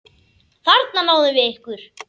Þarna náðum við ykkur!